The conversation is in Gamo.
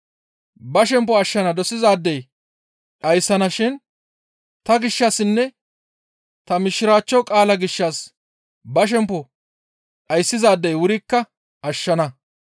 Ba shempo ashshana dosizaadey dhayssana shin ta gishshassinne ta Mishiraachcho qaalaa gishshas ba shempo dhayssizaadey wurikka ashshana.